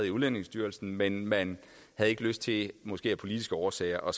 i udlændingestyrelsen men man havde ikke lyst til måske af politiske årsager